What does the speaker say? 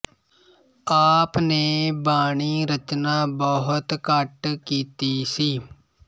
ਆਪ ਨੇ ਬਾਣੀ ਰਚਨਾ ਬਹੁਤ ਘੱਟ ਕੀਤੀ ਸੀ